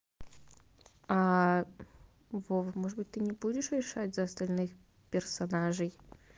вова может быть ты не будешь решать за остальных персонажей